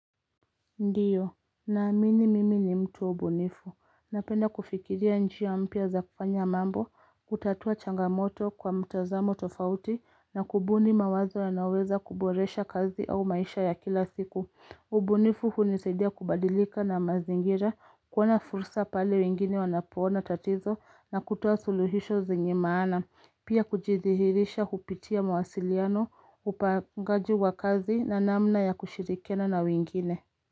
Ndiyo, naamini mimi ni mtu bunifu. Napenda kufikiria njia mpya za kufanya mambo, kutatua changamoto kwa mtazamo tofauti na kubuni mawazo yayonaweza kuboresha kazi au maisha ya kila siku. Ubunifu hunisaidia kubadilika na mazingira, kuona fursa pale wengine wanapoona tatizo na kutoa suluhisho zenye maana, pia kujithihirisha hupitia mawasiliano, upangaji wa kazi na namna ya kushirikiana na wengine.